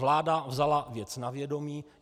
Vláda vzala věc na vědomí.